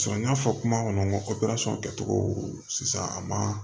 n y'a fɔ kuma kɔnɔ kɛcogo sisan a ma